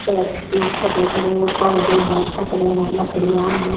ये छोटे-बड़े पौधे हैं फतरे हैं लकड़ियां हैं।